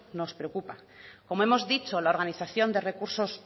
nos preocupa como hemos dicho la organización de recursos